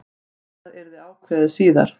Annað yrði ákveðið síðar.